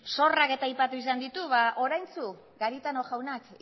zorrak eta aipatu izan ditu ba oraintsu garitano jaunak